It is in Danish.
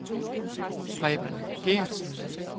Preben Gertsen